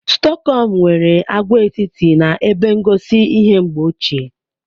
Stokom nwere agwaetiti na ebe ngosi ihe mgbe ochie.